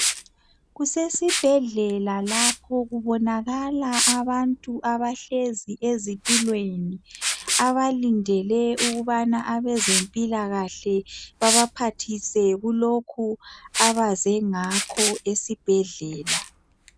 Kusesibhedlela lapho kubonakala abantu abahlezi ezitulweni, abalindele ukubana abezempilakahle babaphathise kulokhu abaze ngakho esibhedlela.